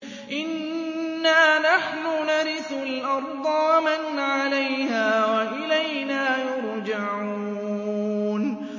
إِنَّا نَحْنُ نَرِثُ الْأَرْضَ وَمَنْ عَلَيْهَا وَإِلَيْنَا يُرْجَعُونَ